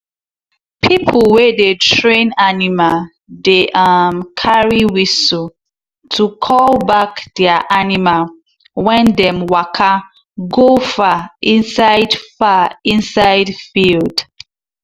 pipo wey dey train animal dey um carry whistle to call back their animal when dem waka go far inside far inside field.